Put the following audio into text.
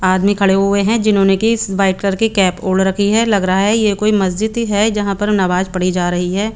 आदमी खडे हुए है जिन्होंने किस वाइट कलर की कैप ओद रखी है लग रहा है ये कोई माजिद ही है जहा पर नमाज पड़ी जा रही है।